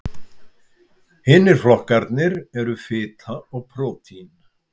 Hinir flokkarnir eru fita og prótín.